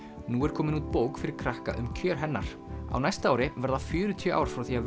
nú er komin út bók fyrir krakka um kjör hennar á næsta ári verða fjörutíu ár frá því að